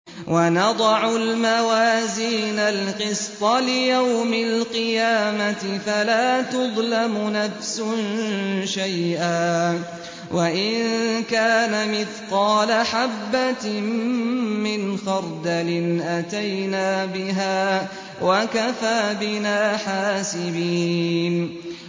وَنَضَعُ الْمَوَازِينَ الْقِسْطَ لِيَوْمِ الْقِيَامَةِ فَلَا تُظْلَمُ نَفْسٌ شَيْئًا ۖ وَإِن كَانَ مِثْقَالَ حَبَّةٍ مِّنْ خَرْدَلٍ أَتَيْنَا بِهَا ۗ وَكَفَىٰ بِنَا حَاسِبِينَ